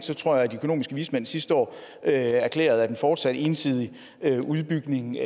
jeg tror at de økonomiske vismænd sidste år erklærede at en fortsat ensidig udbygning med